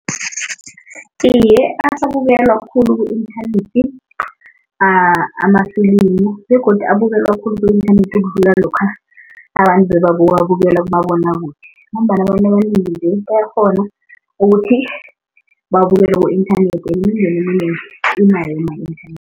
Iye, asabukelwa khulu ku-inthanethi amafilimu begodu abukelwa khulu ku-inthanethi ukudlula lokha abantu bebabawabukela kumabonwakude ngombana abantu abanengi bayakghona ukuthi babukele ku-inthanethi